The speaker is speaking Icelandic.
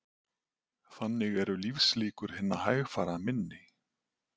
Þannig eru lífslíkur hinna hægfara minni